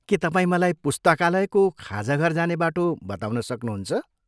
के तपाईँ मलाई पुस्तकालयको खाजाघर जाने बाटो बताउन सक्नुहुन्छ?